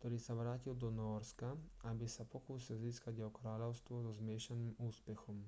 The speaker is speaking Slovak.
ktorý sa vrátil do nórska aby sa pokúsil získať jeho kráľovstvo so zmiešaným úspechom